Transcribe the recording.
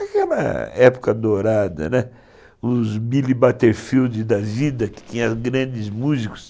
Aquela época dourada, né, os Billy Butterfield da vida, que tinha grandes músicos.